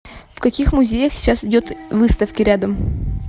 в каких музеях сейчас идут выставки рядом